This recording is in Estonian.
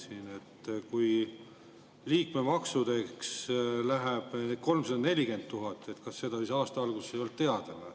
Kui liikmemaksudeks läheb 340 000 eurot, siis kas seda aasta alguses ei olnud teada?